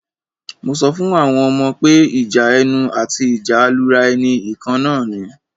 Mo sọ fún àwọn ọmọ pé ìjà ẹnu àti ìjà alura ẹni ìkan náà ni.